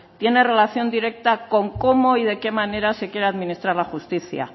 tiene relación directa con cómo y de qué manera se quiere administrar la justicia